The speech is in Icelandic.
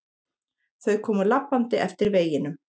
Þau komu labbandi eftir veginum.